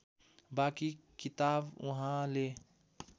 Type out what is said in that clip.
बाँकी किताब उहाँले